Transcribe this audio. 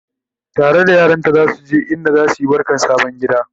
tare da yaranta zasu je inda zasuyi barkan sabon gida